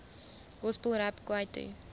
gospel rap kwaito